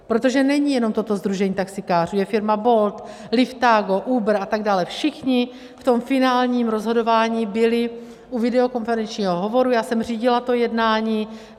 Protože není jenom toto sdružení taxikářů, je firma Bolt, Liftago, Uber a tak dále, všichni v tom finálním rozhodování byli u videokonferenčního hovoru, já jsem řídila to jednání.